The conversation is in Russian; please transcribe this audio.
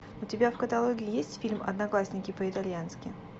у тебя в каталоге есть фильм одноклассники по итальянски